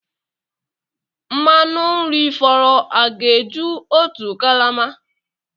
Mmanụ nri fọrọ a ga-eju otu kalama?